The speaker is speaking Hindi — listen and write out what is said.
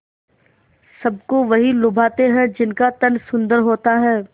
सबको वही लुभाते हैं जिनका तन सुंदर होता है